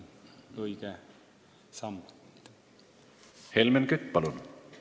Helmen Kütt, palun!